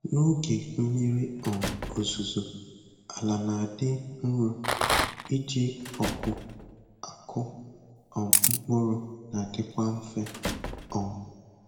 N'oge mmiri um ozuzo, ala na-adị nro, iji ọgụ akụ um mkpụrụ nadikwa mfe. um